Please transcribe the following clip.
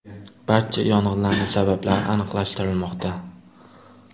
Barcha yong‘inlarning sabablari aniqlashtirilmoqda.